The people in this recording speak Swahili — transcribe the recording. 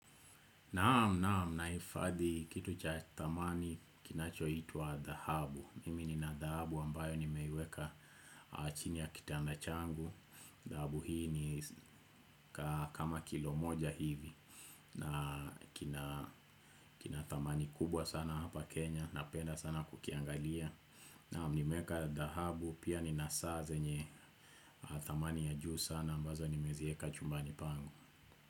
Naam naam nahifadhi kitu cha dhamani kinacho itwa dhahabu. Mimi ni na dhahabu ambayo nimeiweka chini ya kitanda changu. Dhahabu hii ni kama kilo moja hivi. Na kina dhamani kubwa sana hapa Kenya napenda sana kuki angalia. Naam nimeweka dhahabu pia nina saa zenye dhamani ya juu sana ambazo nime ziweka chumbani pangu.